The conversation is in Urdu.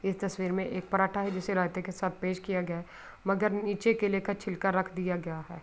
یہ تشویر مے ایک پراٹھا ہے۔ جسے رہتے کے ساتھ پیش کیا گیا ہے۔ مگر نیچے کے لئے کا چھلکا رکھ دیا گیا ہے.